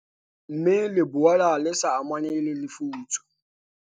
Mme le boela le sa amane le lefutso."